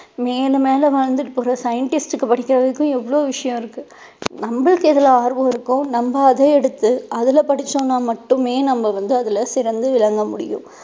மேலும் மேலும் வளர்ந்துட்டு போற scientist க்கு படிக்கிறதுக்கும் எவ்ளோ விஷயம் இருக்கு நமக்கு எதுல ஆர்வம் இருக்கோ நம்ம அதை எடுத்து அதுல படிச்சோம்னா மட்டுமே நம்ம வந்து அதுல சிறந்து விளங்க முடியும்.